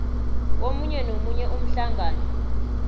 komunye nomunye umhlangano